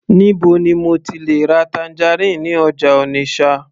níbo ni mo ti le ra tangerine ní ọjà Onitsha